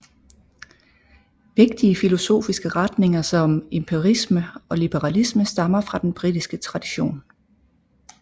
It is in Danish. Vigtige filosofiske retninger som empirisme og liberalisme stammer fra den britiske tradition